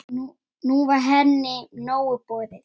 Nú var henni nóg boðið.